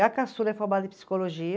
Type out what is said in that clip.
A caçula é formada em psicologia.